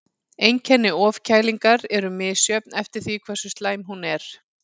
Einkenni ofkælingar eru misjöfn eftir því hversu slæm hún er.